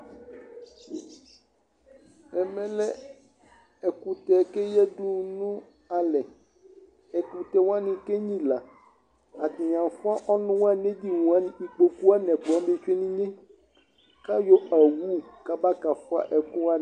ɛmɛ lɛ ɛkʋtɛ kʋ ɛyadʋ nʋ alɛ, ɛkʋtɛ wani kɛ nyila, ɛdini aƒʋa ɔnʋ wani nʋ ɛdini wani, ikpɔkʋ wani twɛnʋ inyɛ kʋ ayɔ awʋ kaba kaƒʋa ɛkʋ wani